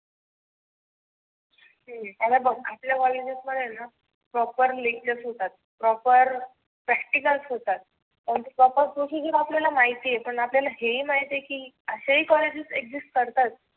आत बघ आपल्या कॉलेज बघाल ना proper linkup होतात. proper practicles होतात. आपल्याला माहिती आहे आपयाला हे ही माहिती आहे की असे ही कॉलेज करतात.